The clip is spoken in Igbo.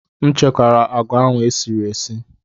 M chekwara agwa ahụ e sirila esi.